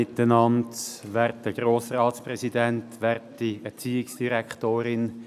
Ich gebe Grossrat Wildhaber das Wort.